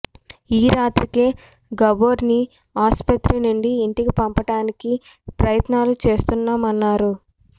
ఈ రాత్రికే గబోర్ ని ఆసుపత్రి నుండి ఇంటికి పంపించడానికి ప్రయత్నాలు చేస్తున్నామన్నారు